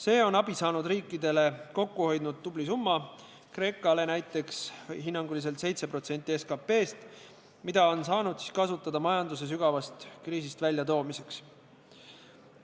See on abi saanud riikidele kokku hoidnud tubli summa – Kreekale näiteks hinnanguliselt 7% SKP-st –, mida on saanud kasutada majanduse sügavast kriisist väljatoomiseks.